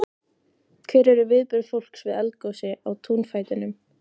Hver eru viðbrögð fólks við eldgosi í túnfætinum?